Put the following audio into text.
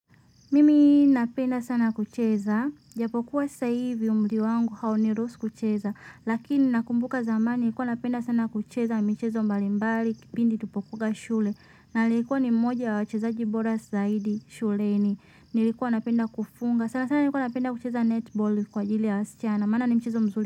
Mimi napenda sana kucheza ijapokuwa sasa hivi umri wangu hauniruhusu kucheza lakini nakumbuka zamani nilikuwa napenda sana kucheza michezo mbalimbali kipindi tulipokuwanga shule nalikuwa ni mmoja wa wachezaji bora zaidi shuleni nilikuwa napenda kufunga sana sana nilikuwa napenda kucheza netball kwa ajili ya wasichana maana ni mchezo mzuri.